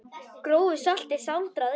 Grófu salti sáldrað yfir.